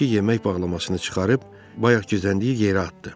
Ordakı yemək bağlamasını çıxarıb bayaq gizləndiyi yerə atdı.